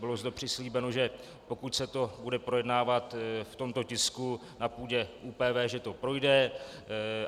Bylo zde přislíbeno, že pokud se to bude projednávat v tomto tisku na půdě ÚPV, že to projde.